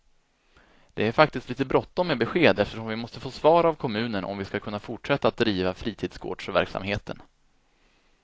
Det är faktiskt lite bråttom med besked, eftersom vi måste få svar av kommunen om vi skall kunna fortsätta att driva fritidsgårdsverksamheten.